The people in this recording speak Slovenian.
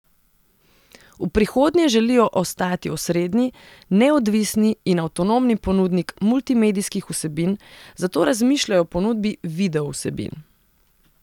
V prihodnje želijo ostati osrednji, neodvisni in avtonomni ponudnik multimedijskih vsebin, zato razmišljajo o ponudbi videovsebin.